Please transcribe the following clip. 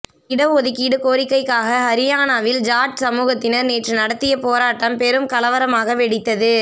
இடஒதுக்கீடு கோரிக்கைக்காக ஹரியானாவில் ஜாட் சமூகத்தினர் நேற்று நடத்திய போராட்டம் பெரும் கலவரமாக வெடித்தது